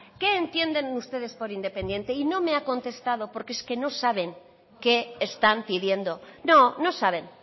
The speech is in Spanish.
qué entienden ustedes por independiente y no me ha contestado porque es que no saben qué están pidiendo no no saben